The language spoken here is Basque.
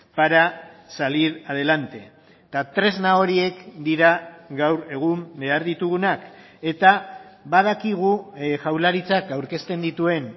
para salir adelante eta tresna horiek dira gaur egun behar ditugunak eta badakigu jaurlaritzak aurkezten dituen